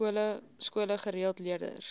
skole gereeld leerders